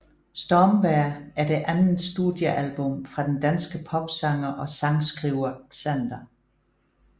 Stormvejr er det andet studiealbum fra den danske popsanger og sangskriver Xander